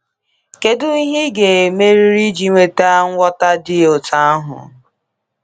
Kedu ihe ị ga-emerịrị iji nweta nghọta dị otú ahụ?